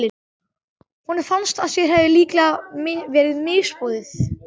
Honum fannst að sér hefði líka verið misboðið.